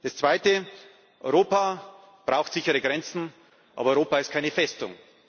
Das Zweite Europa braucht sichere Grenzen, aber Europa ist keine Festung.